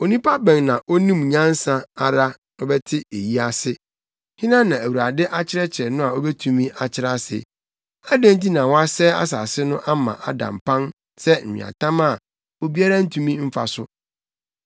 Onipa bɛn na onim nyansa ara sɛ ɔbɛte eyi ase? Hena na Awurade akyerɛkyerɛ no a obetumi akyerɛ ase? Adɛn nti na wɔasɛe asase no ama ada mpan sɛ nweatam a obiara ntumi mfa so?